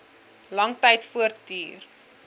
lang tyd voortduur